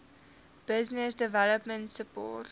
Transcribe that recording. business development support